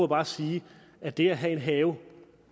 bare sige at det at have en have